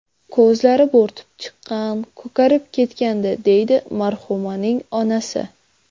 Ko‘zlari bo‘rtib chiqqan, ko‘karib ketgandi”, deydi marhumaning onasi.